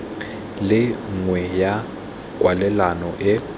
le nngwe ya kwalelano e